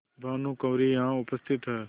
भानुकुँवरि यहाँ उपस्थित हैं